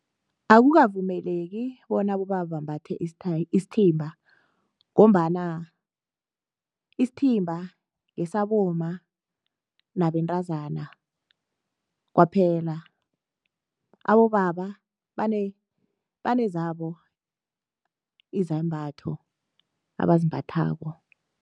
Akukavumeleki bonyana abobaba bambathe isithimba ngombana isithimba ngesabomma nabentazana kwaphela. Abobaba banezabo izembatho abazimbathako.